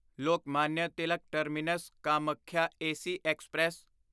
Lokmanya Tilak terminus Kamakhya AC express